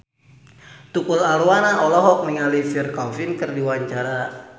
Tukul Arwana olohok ningali Pierre Coffin keur diwawancara